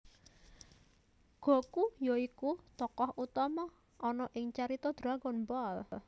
Goku ya iku tokoh utama ana ing carita Dragon Ball